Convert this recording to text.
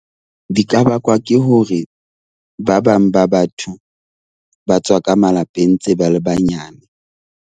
Di ka bakwa ke hore ba bang ba batho ba tswa ka malapeng ntse ba le banyane.